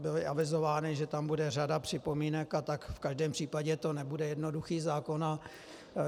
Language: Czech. Bylo avizováno, že tam bude řada připomínek, a tak v každém případě to nebude jednoduchý zákon.